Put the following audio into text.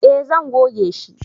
eh zan goge shi